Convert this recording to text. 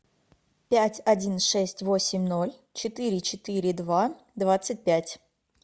пять один шесть восемь ноль четыре четыре два двадцать пять